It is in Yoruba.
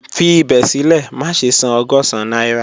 Fi ibẹ silẹ, maṣe san ọgọ́sán naira